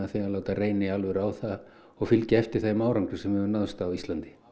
láta reyna í alvöru á það og fylgja eftir þeim árangri sem hefur náðst á Íslandi